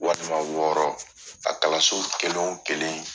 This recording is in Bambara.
Walima wɔɔrɔ a kalanso kelen o kelen.